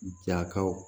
Jakaw